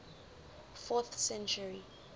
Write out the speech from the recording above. fourth century